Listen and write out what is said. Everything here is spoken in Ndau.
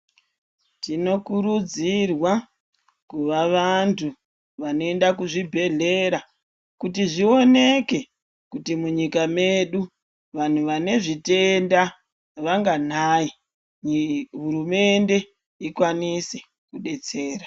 Tino kurudzirwa kuva vantu vano enda kuzvi bhedhlera kuti zvioneke kuti munyika medu vanhu vane zvitenda vanganai uye hurumende ikwanise kudetsera.